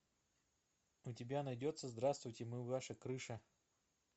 у тебя найдется здравствуйте мы ваша крыша